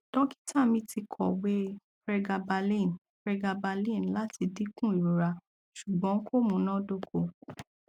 dọkita mi ti kọwe pregabalin pregabalin lati dinku irora ṣugbọn ko munadoko